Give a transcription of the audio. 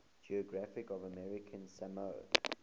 geography of american samoa